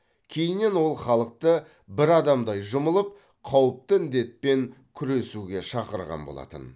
кейіннен ол халықты бір адамдай жұмылып қауіпті індетпен күресуге шақырған болатын